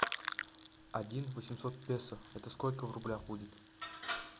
один восемьсот песо это сколько в рублях будет